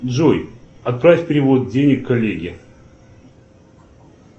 джой отправь перевод денег коллеге